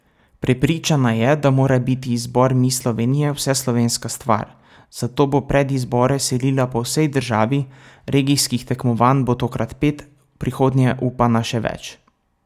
Prepričana je, da mora biti izbor Miss Slovenije vseslovenska stvar, zato bo predizbore selila po vsej državi, regijskih tekmovanj bo tokrat pet, v prihodnje upa na še več.